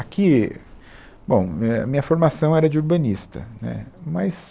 Aqui, bom, é, a minha formação era de urbanista, né, mas